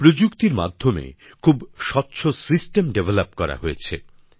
প্রযুক্তির মাধ্যমে খুব স্বচ্ছ ব্যবস্থাপনা গড়ে তোলা হয়েছে